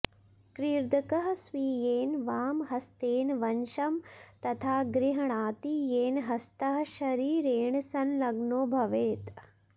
कॄर्दकः स्वीयेन वामहस्तेन वंशं तथा गृहणाति येन ह्स्तः शरीरेण संलग्नो भवेत्